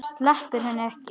Sleppir henni ekki.